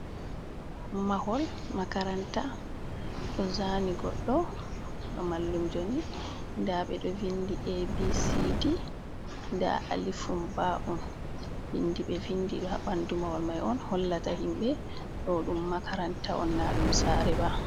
Mahol makaranta ɗo zaani goɗɗo ba mallumjo ni, nda ɓeɗo vindi ABCD, nda alifum ba’on. Vindi ɓe vindi haa ɓandu mahol mai on hollata himɓe ɗo ɗum makaranta on, na ɗum saare ba.